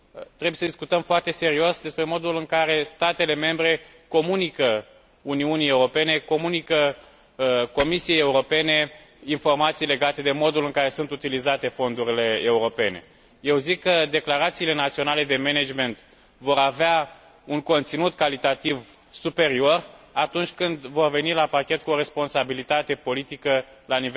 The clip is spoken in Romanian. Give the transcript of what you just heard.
Trebuie să discutăm foarte serios despre modul în care statele membre comunică Uniunii Europene, mai precis Comisiei Europene, informații legate de modul în care sunt utilizate fondurile europene. Sunt de părere că declarațiile naționale de management vor avea un conținut calitativ superior atunci când vor veni la pachet cu o responsabilitate politică la